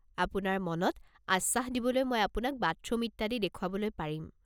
আপোনাৰ মনত আশ্বাস দিবলৈ মই আপোনাক বাথৰুম ইত্যাদি দেখুৱাবলৈ পাৰিম।